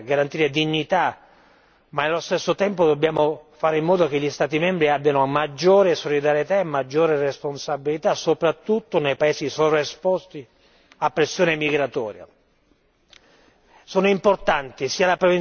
Certo, dobbiamo tutelare i migranti, le persone, garantire dignità, ma nello stesso tempo dobbiamo fare in modo che gli Stati membri abbiano maggiore solidarietà e maggiore responsabilità, soprattutto nei paesi sovraesposti a pressione migratoria.